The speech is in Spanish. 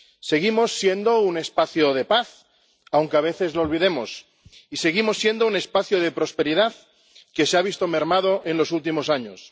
Seguimos siendo un espacio de paz, aunque a veces lo olvidemos, y seguimos siendo un espacio de prosperidad, que se ha visto mermado en los últimos años